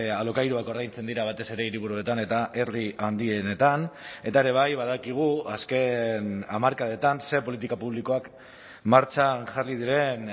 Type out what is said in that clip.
alokairuak ordaintzen dira batez ere hiriburuetan eta herri handienetan eta ere bai badakigu azken hamarkadetan ze politika publikoak martxan jarri diren